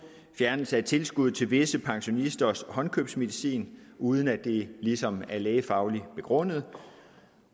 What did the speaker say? fjernelse af tilskud til visse pensionisters håndkøbsmedicin uden at det ligesom er lægefagligt begrundet